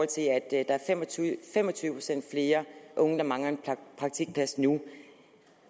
til at der fem og tyve procent flere unge der mangler en praktikplads nu